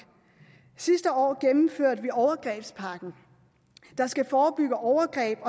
sidste år gennemførte vi overgrebspakken der skal forebygge overgreb